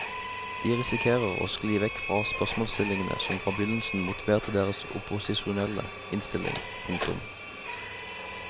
De risikerer å skli vekk fra spørsmålsstillingene som fra begynnelsen motiverte deres opposisjonelle innstilling. punktum